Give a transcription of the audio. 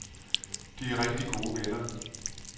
De er rigtig gode venner.